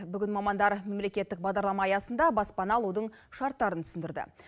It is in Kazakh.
бүгін мамандар мемлекеттік бағдарлама аясында баспана алудың шарттарын түсіндірді